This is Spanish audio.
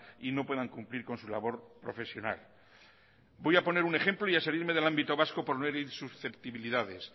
y no puedan cumplir con su labor profesional voy a poner un ejemplo y a salirme del ámbito vasco por no herir susceptibilidades